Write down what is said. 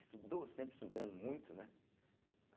Estudou, sempre estudando muito, né? a